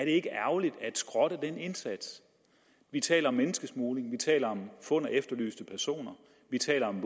ikke ærgerligt at skrotte den indsats vi taler om menneskesmugling vi taler om fund af efterlyste personer vi taler om